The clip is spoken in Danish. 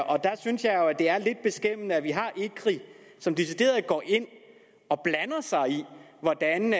og der synes jeg jo at det er lidt beskæmmende at vi har ecri som decideret går ind og blander sig i hvordan